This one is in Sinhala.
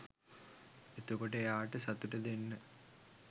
එතකොට එයාට සතුට දෙන්න